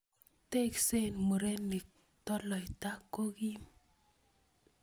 Tesksei murenik, toloita ko kim